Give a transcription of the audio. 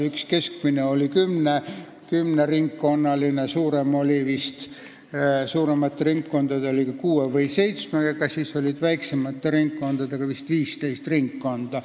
Üks keskmine oli kümne ringkonnaga, suuremate ringkondadega süsteem nägi ette vist kuus või seitse ringkonda, aga oli ka väiksemate ringkondadega süsteem, kus oli vist 15 ringkonda.